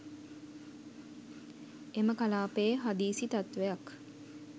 එම කලාපයේ හදිසි තත්වයක්